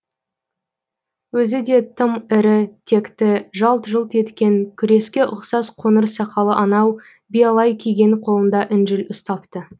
өзі де тым ірі текті жалт жұлт еткен күреске ұқсас қоңыр сақалы анау биялай киген қолында інжіл ұстапты